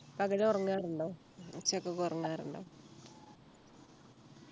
പകലുറങ്ങാറുണ്ടോ ഉച്ചയ്ക്ക് ഒക്കെ ഉറങ്ങാറുണ്ടോ